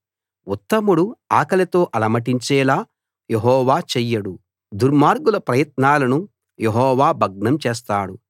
ఉత్తముడు ఆకలితో అలమటించేలా యెహోవా చెయ్యడు దుర్మార్గుల ప్రయత్నాలను యెహోవా భగ్నం చేస్తాడు